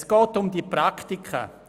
Es geht um die Praktika.